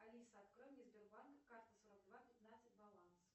алиса открой мне сбербанк карта сорок два пятнадцать баланс